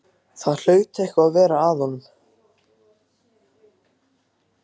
Það hlaut eitthvað að vera að honum.